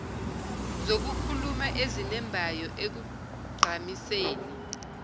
zokukhuluma ezinembayo ekugqamiseni